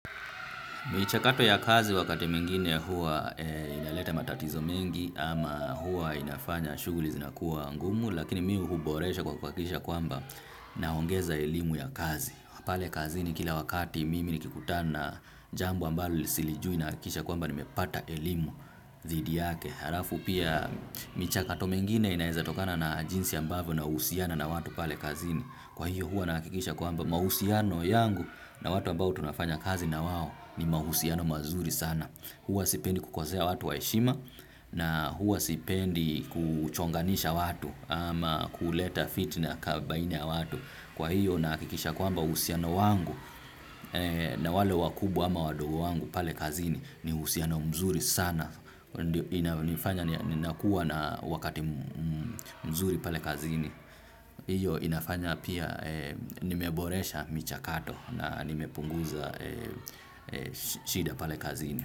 Michakato ya kazi wakati mwingine huwa inaleta matatizo mengi ama huwa inafanya shughuli zinakuwa ngumu lakini mi huboresha kwa kuhakikisha kwamba naongeza elimu ya kazi. Pale kazini kila wakati mimi nikikutana jambo ambalo silijui nahakikisha kwamba nimepata elimu dhidi yake. Harafu pia michakato mengine inaeza tokana na jinsi ambavyo na usiana na watu pale kazini. Kwa hiyo hua nahakikisha kwamba mausiano yangu na watu ambavyo tunafanya kazi na wawo ni mausiano mazuri sana. Huwa sipendi kukosea watu waheshima na huwa sipendi kuchonganisha watu ama kuleta fitna kabaina ya watu. Kwa hiyo nahakikisha kwamba usiano wangu na wale wakubwa ama wadogo wangu pale kazini ni usiano mzuri sana. Ninakua na wakati mzuri pale kazini. Iyo inafanya pia nimeboresha micha kato na nimepunguza shida pale kazini.